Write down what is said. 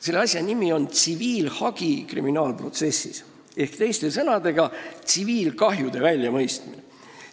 Selle asja nimi on tsiviilhagi kriminaalprotsessis, teiste sõnadega, tsiviilkahjude väljamõistmine.